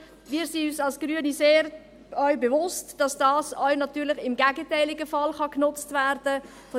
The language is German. Wir sind uns als Grüne auch sehr bewusst, dass dies natürlich auch im gegenteiligen Fall genutzt werden kann.